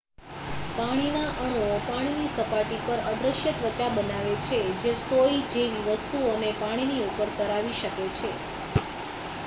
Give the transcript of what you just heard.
પાણીના અણુઓ પાણીની સપાટી પર અદૃશ્ય ત્વચા બનાવે છે જે સોય જેવી વસ્તુઓને પાણીની ઉપર તરાવી શકે છે